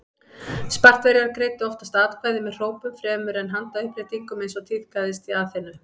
Spartverjar greiddu oftast atkvæði með hrópum fremur en með handauppréttingum eins og tíðkaðist í Aþenu.